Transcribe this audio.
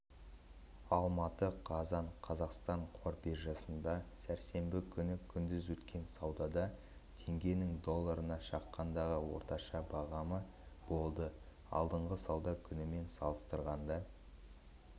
алматы қазан қазақстан қор биржасында сәрсенбі күні күндіз өткен саудада теңгенің долларына шаққандағы орташа бағамы болды алдыңғы сауда күнімен салыстырғанда